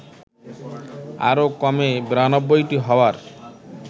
আরও কমে ৯২টি হওয়ার